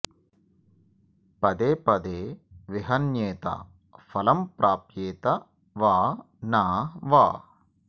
पदे पदे विहन्येत फलं प्राप्येत वा न वा